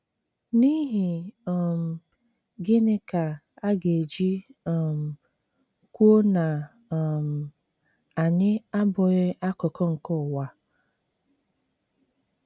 N’ihi um gịnị ka aga eji um kwuo na um anyị “ abụghị akụkụ nke ụwa ”??